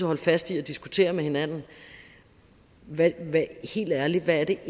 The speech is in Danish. holde fast i at diskutere med hinanden hvad det helt ærligt er